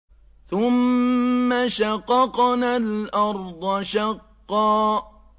ثُمَّ شَقَقْنَا الْأَرْضَ شَقًّا